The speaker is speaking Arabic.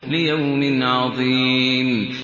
لِيَوْمٍ عَظِيمٍ